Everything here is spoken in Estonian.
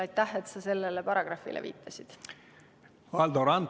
Aitäh, et sa sellele paragrahvile viitasid!